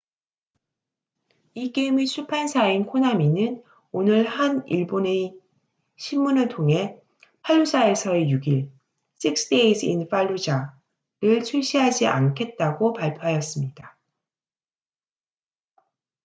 이 게임의 출판사인 코나미는 오늘 한 일본의 신문을 통해 팔루자에서의 6일six days in fallujah를 출시하지 않겠다고 발표하였습니다